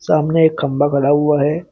सामने एक खंबा गड़ा हुआ है।